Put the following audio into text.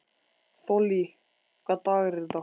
Þollý, hvaða dagur er í dag?